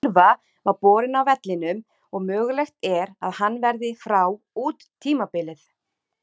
Silva var borinn af vellinum og mögulegt er að hann verði frá út tímabilið.